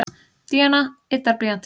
Díana yddar blýantinn sinn.